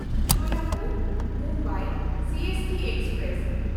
Solapur Mumbai CST express